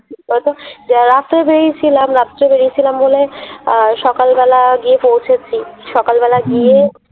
বেলাতে বেরিয়েছিলাম, রাত্রে বেরিয়েছিলাম বলে আহ সকাল বেলা গিয়ে পৌঁছেছি। সকাল বেলা গিয়ে